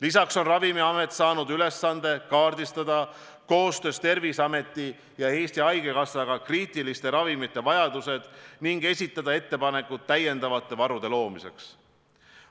Lisaks on Ravimiamet saanud ülesande kaardistada koostöös Terviseameti ja Eesti Haigekassaga kriitiliste ravimite vajadused ning esitada ettepanekud täiendavate varude loomiseks.